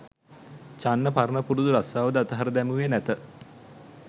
චන්න පරණ පුරුදු රස්‌සාවද අතහැර දැමුවේ නැත.